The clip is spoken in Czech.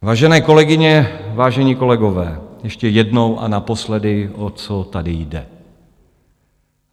Vážené kolegyně, vážení kolegové, ještě jednou a naposledy, o co tady jde.